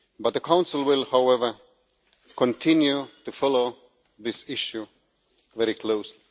The Council will, however, continue to follow this issue very closely.